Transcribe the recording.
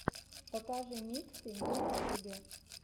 покажи миксы на ютубе